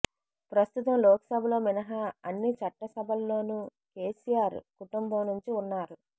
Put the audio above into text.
ప్రస్తుతం లోక్సభలో మినహా అన్ని చట్టసభల్లోనూ కేసీఆర్ కుటుంబం నుంచి ఉన్నారు